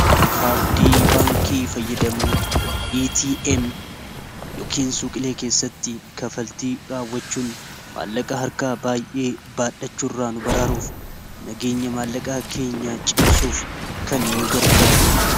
kaard baankii fayyadamuu ATM yookiin suqilee keessatti kafaltii raawwachuun maallaqaa harkaa baay'ee baadhachuu irraa nu baraaruuf nageenya maallaqaa keenya cimsuuf kan nu gargaaru